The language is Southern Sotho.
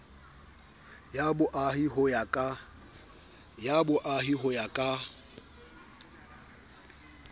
ya boahi ho ya ka